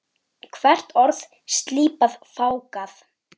Hvert orð slípað, fágað.